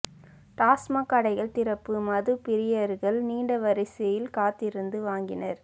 டாஸ்மாக் கடைகள் திறப்பு மது பிரியர்கள் நீண்ட வரிசையில் காத்திருந்து வாங்கினர்